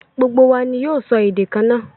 Gbogbo wa ní yoo sọ èdè kanna